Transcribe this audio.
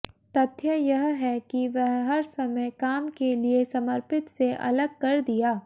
तथ्य यह है कि वह हर समय काम के लिए समर्पित से अलग कर दिया